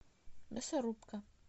мясорубка